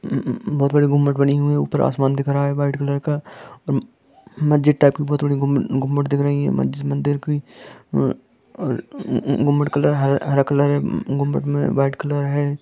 अ - अ बहुत बड़ी गुंमट बनी हुई है ऊपर आसमान दिख रहा है व्हाइट कलर का म मस्जिद टाइप बहुत बड़ी गुंमट गुंमट दिख रही है मस्जिद मंदिर कोई अ - म गुंमट कलर हर हरा कलर है गुंमट मे व्हाइट कलर है।